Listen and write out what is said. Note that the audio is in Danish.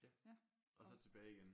Ja og så tilbage igen?